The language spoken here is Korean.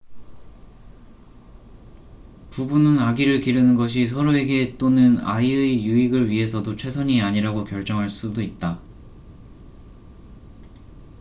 부부는 아기를 기르는 것이 서로에게 또는 아이의 유익을 위해서도 최선이 아니라고 결정할 수도 있다